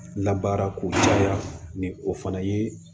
Labaara k'u caya ni o fana ye